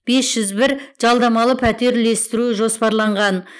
бес жүз бір жалдамалы пәтер үлестіру жоспарланған